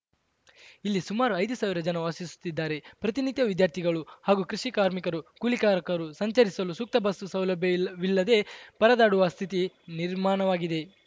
ಇಲ್ಲಿ ಸುಮಾರು ಐದು ಸಾವಿರ ಜನರು ವಾಸಿಸುತ್ತಿದ್ದಾರೆ ಪ್ರತಿನಿತ್ಯ ವಿದ್ಯಾರ್ಥಿಗಳು ಹಾಗೂ ಕೃಷಿಕಾರ್ಮಿಕರು ಕೂಲಿಕಾರರರು ಸಂಚರಿಸಲು ಸೂಕ್ತ ಬಸ್‌ ಸೌಲಭ್ಯ ಇಲ್ಲ ವಿಲ್ಲದೇ ಪರದಾಡುವ ಸ್ಥಿತಿ ನಿರ್ಮಾಣವಾಗಿದೆ